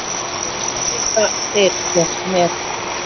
Hvað geta þeir gert mér?